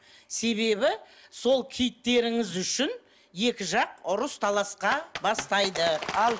себебі сол киіттеріңіз үшін екі жақ ұрыс таласқа бастайды